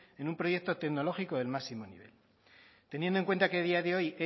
en un proyecto tecnológico de máximo nivel teniendo en cuenta que a día de hoy